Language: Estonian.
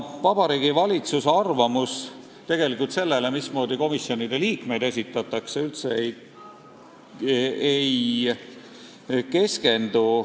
Vabariigi Valitsuse arvamus tegelikult sellele, mismoodi komisjonidesse liikmeid esitatakse, üldse ei keskendu.